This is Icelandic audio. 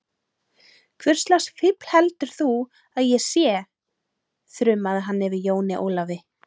Hvurslags fífl heldur þú að ég sé, þrumaði hann yfir Jóni Ólafi.